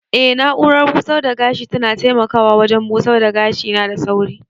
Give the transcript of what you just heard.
Eh na'urar busar da gashi tana taimakawa wajen busar da gashina da sauri.